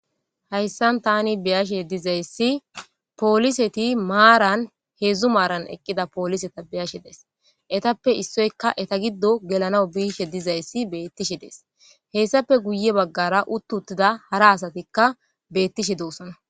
hayssan tani beyashe dizayssi pooliseti maaran heedzdzu maaran eqqida pooliseta beyashe days etappe issoyka eta giddo gelanaw biishe dizayssi beettishe dees hessappe guye baggara uttu uttida hara asatikka beettishe doosana